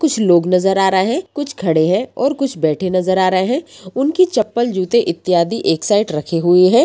कुछ लोग नजर आ रहे हैं कुछ खड़े हैं और कुछ बैठे नजर आ रहे हैं उनकी चप्पल जूते इत्यादि एक साइड रखे हुए हैं।